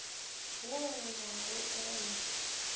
wo go ya go wola